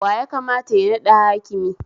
Wa yakamata ya naɗa hakimi?